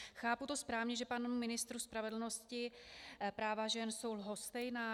Chápu to správně, že panu ministru spravedlnosti práva žen jsou lhostejná?